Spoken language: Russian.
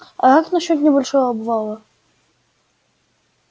а как насчёт небольшого обвала